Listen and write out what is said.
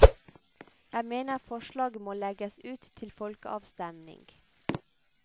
Jeg mener forslaget må legges ut til folkeavstemning.